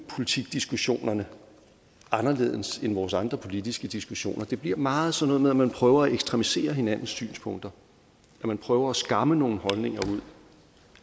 politikdiskussionerne anderledes end vores andre politiske diskussioner det bliver meget sådan noget med at man prøver at ekstremisere hinandens synspunkter at man prøver at skamme nogle holdninger ud